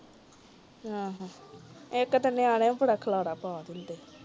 ਆਹੋ ਇਕ ਤਾ ਨਿਆਣੇ ਬੜਾ ਖਿਲਾਰਾ ਪਾ ਦੇਂਦੇ